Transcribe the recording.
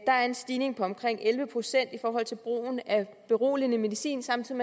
er en stigning på omkring elleve procent i brugen af beroligende medicin samtidig